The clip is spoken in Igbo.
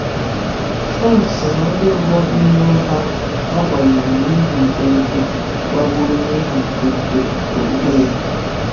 Franc so ná ndị mbụ n’ime ha a gbagburu n’ihi nkwenkwe gbagburu n’ihi nkwenkwe okpukpe ya.